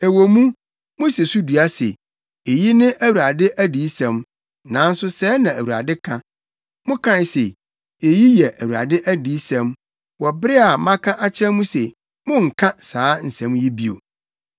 Ɛwɔ mu, musi so dua se, ‘Eyi ne Awurade adiyisɛm’ nanso sɛɛ na Awurade ka: Mokae se, ‘Eyi yɛ Awurade adiyisɛm,’ wɔ bere a maka akyerɛ mo se monnka saa nsɛm yi bio.